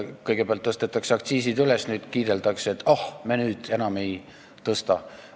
Kõigepealt tõstetakse aktsiisid kõrgele, nüüd kiideldakse, et oh, me enam ei tõsta.